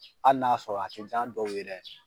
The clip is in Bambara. Hali n'a sɔrɔ a tɛ ja'a dɔw ye dɛ.